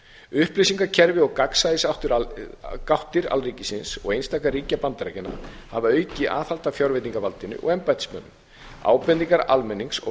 upplýsingakerfi og gagnsæisgáttir alríkisins og einstakra ríkja bandaríkjanna hafa aukið aðhald að fjárveitingavaldinu og embættismönnum ábendingar almennings og